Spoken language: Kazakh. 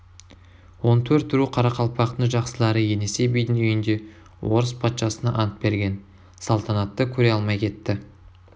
он төрт ру қарақалпақтың жақсылары енесей бидің үйінде орыс патшасына ант берген салтанатты көре алмай кетті